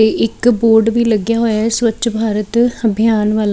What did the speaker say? ਤੇ ਇੱਕ ਬੋਰਡ ਵੀ ਲੱਗਿਆ ਹੋਇਆ ਸਵੱਛ ਭਾਰਤ ਅਭਿਆਨ ਵਾਲਾ --